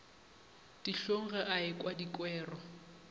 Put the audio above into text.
dihlong ge a ekwa dikwero